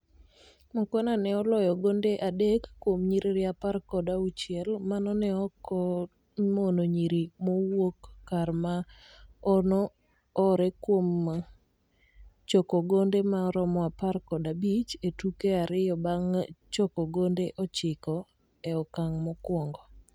Mukhwana ne oloyogonde adek kuom nyiririapar kod auchiel manone oko mon nyiri mawuokkar ma ono ore kuomchokogonde ma romo apar kod abich e tuke ariyobang chokogonde ochiko e okang mokuongo